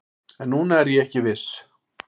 En núna er ég ekki viss